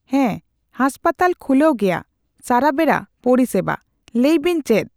ᱦᱮᱸ ᱦᱳᱥᱯᱤᱴᱟᱞ ᱠᱷᱩᱞᱟᱣ ᱜᱣᱭᱟ᱾ ᱥᱟᱨᱟᱵᱮᱲᱟ ᱯᱚᱨᱤ ᱥᱮᱵᱟ, ᱞᱟᱹᱭ ᱵᱮᱱ ᱪᱮᱫ?